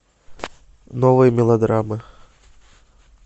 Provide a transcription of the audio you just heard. новые мелодрамы